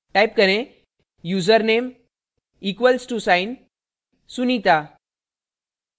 type करें username username equal to sign sunita